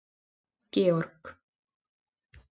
Georg